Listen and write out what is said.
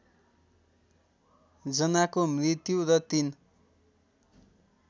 जनाको मृत्यु र ३